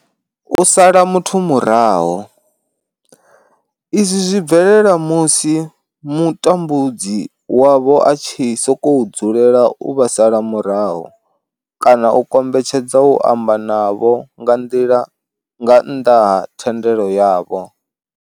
U sala muthu murahu, izwi zwi bvelela musi mutambudzi wavho a tshi sokou dzulela u vha sala murahu kana a kombetshedza u amba na vhone nga nnḓa ha thendelo yavho.